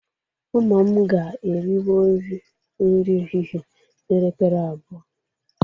Ụmụ m ga-eriwori nri ehihe n'elekere abụọ.